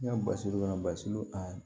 Ne ka basi kɔnɔ basi a